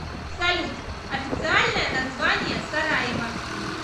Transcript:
салют официальное название сараево